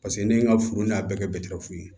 Paseke ne ye n ka furu n y'a bɛɛ kɛ ye